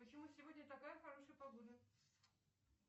почему сегодня такая хорошая погода